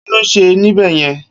Kiló n sé nibèyèn?